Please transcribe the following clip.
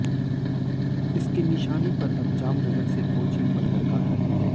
इसके निशाने पर अब जामनगर से कोचीन बंदरगाह रहेंगे